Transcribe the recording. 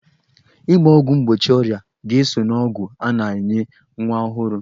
Ịgba ọgwụ mgbochi ọrịa ga-eso n'ọgwụ a na-enye nwa ọhụrụ